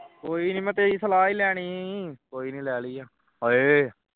ਕੋਈ ਨਹੀਂ ਮੈਂ ਤੇਰੀ ਸਲਾਹ ਹੀ ਲੈਣੀ ਸੀ ਕੋਈ ਨਹੀਂ ਲੈ ਲਈ ਹੈ ਉਏ